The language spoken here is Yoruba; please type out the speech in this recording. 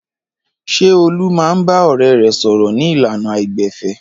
Ṣé Olú máa ń bá ọ̀rẹ́ rẹ̀ sọ̀rọ̀ ní ìlànà àìgbẹ̀fẹ̀?